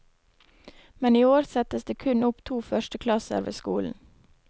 Men i år settes det kun opp to førsteklasser ved skolen.